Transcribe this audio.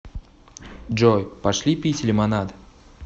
джой пошли пить лимонад